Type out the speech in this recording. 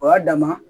O y'a dama